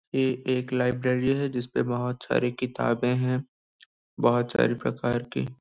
ये एक लाइब्रेरी है जिसपे बहुत सारी क़िताबे है बहुत सारी प्रकार की--